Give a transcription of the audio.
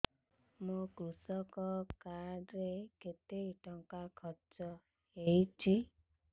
ମୋ କୃଷକ କାର୍ଡ ରେ କେତେ ଟଙ୍କା ଖର୍ଚ୍ଚ ହେଇଚି